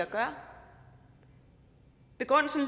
gøre begrundelsen